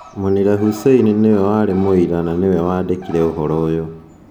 Munira Hussein nĩ we warĩ mũira na nĩ we wandĩkire ũhoro ũyũ.